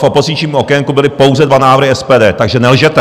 V opozičním okénku byly pouze dva návrhy SPD, takže nelžete!